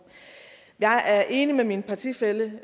jeg er enig med min partifælle